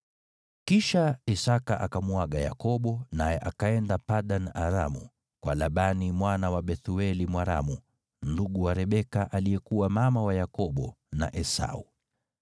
Kisha Isaki akamuaga Yakobo, naye akaenda Padan-Aramu, kwa Labani mwana wa Bethueli Mwaramu, ndugu wa Rebeka, aliyekuwa mama wa Yakobo na Esau.